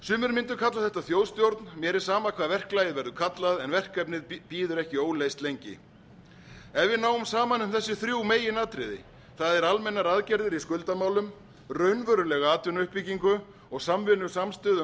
sumir mundu kalla þetta þjóðstjórn mér er sama hvað verklagið verður kallað en verkefnið bíður ekki óleyst lengi ef við náum saman um þessi þrjú meginatriði það er almennar aðgerðir í skuldamálum raunverulega atvinnuuppbyggingu og samvinnu samstöðu um